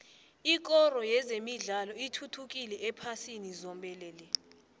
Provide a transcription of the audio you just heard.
ikoro yezemidlalo ithuthukile ephasini zombelele